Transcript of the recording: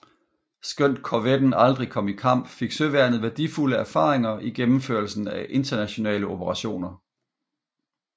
Skønt korvetten aldrig kom i kamp fik søværnet værdifulde erfaringer i gennemførelsen af internationale operationer